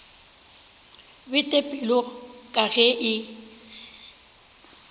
bete pelo ka ge e